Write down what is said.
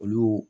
Olu